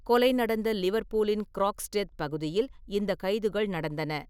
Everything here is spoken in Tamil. கொலை நடந்த லிவர்பூலின் க்ரோக்ஸ்டெத் பகுதியில் இந்த கைதுகள் நடந்தன.